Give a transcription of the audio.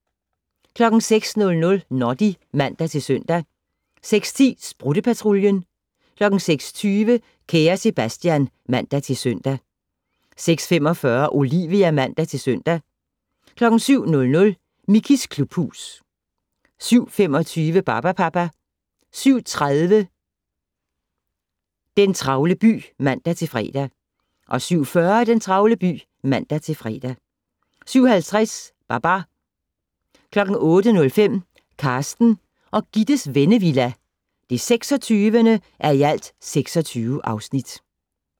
06:00: Noddy (man-søn) 06:10: Sprutte-Patruljen 06:20: Kære Sebastian (man-søn) 06:45: Olivia (man-søn) 07:00: Mickeys klubhus 07:25: Barbapapa 07:30: Den travle by (man-fre) 07:40: Den travle by (man-fre) 07:50: Babar 08:05: Carsten og Gittes Vennevilla (26:26)